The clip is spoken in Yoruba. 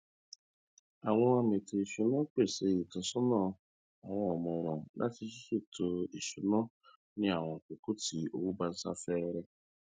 àwọn amètò ìṣúná pèsè ìtọsọnà àwọn ọmọràn lórí ṣíṣètò ìṣúná ní àwọn àsìkò tí owó bá sá fẹẹrẹ